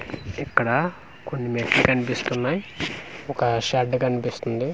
ఇక్కడ కొన్ని మెట్లు కనిపిస్తున్నాయి ఒక షెడ్ కనిపిస్తుంది.